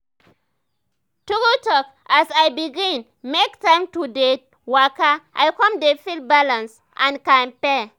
true talk as i begin make time to dey waka i come dey feel balance and kampe.